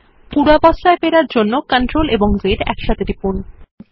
পূর্বাবস্থায় ফেরানোর জন্য CTRL এবং Z টিপুন